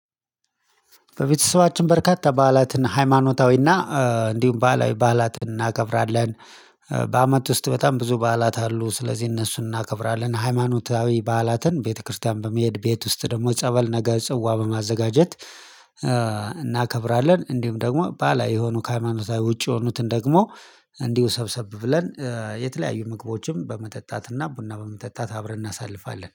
በቤተሰባችን በርካታ በዓላትን ሃይማኖታዊና እንዲሁም ባህላዊ በዓላትን እናከብራለን። በአመት ውስጥ በጣም ብዙ በዓላት አሉ ስለዚህ እነሱን እናከብራለን። ሃይማኖታዊ በዓላትን ቤተክርስቲያን በመሄድ ቤት ውስጥ ደግሞ ጸበል ነገር ጽዋ በማዘጋጀት እናከብራለን። እንዲሁም ደግሞ ባህላዊ የሆኑ ከሃይማኖታዊ ውጪ የሆኑትን ደግሞ እንዲሁ ሰብሰብ ብለን የተለያዩ ምግቦችን በመጠጣትና ቡና በመጠጣት አብረን እናሳልፋለን